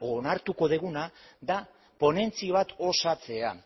edo onartuko duguna dela ponentzia bat osatzea